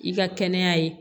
I ka kɛnɛya ye